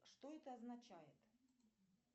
что это означает